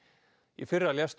í fyrra lést